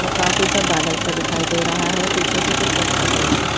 और काफी सा बादल सा दिखाई दे रहा है पीछे से कुछ पत्थर पड़े हैं।